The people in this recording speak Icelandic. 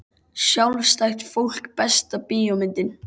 Sjálfstætt fólk Besta bíómyndin?